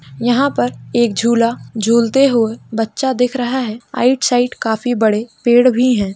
यहाँ पर एक झूला झूलते हुए बच्चा दिख रहा है। राइट साइड काफी बड़े पेड़ भी हैं।